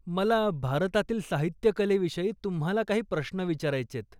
मला भारतातील साहित्यकलेविषयी तुम्हाला काही प्रश्न विचारायचेयत.